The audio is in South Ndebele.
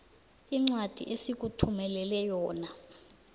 incwadi esikuthumelele yona